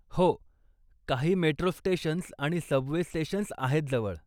हो, काही metro stations आणि सबवे स्टेशन्स आहेत जवळ.